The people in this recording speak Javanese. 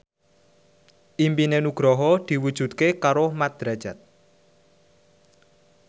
impine Nugroho diwujudke karo Mat Drajat